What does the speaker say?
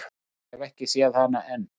Ég hef ekki séð hana enn.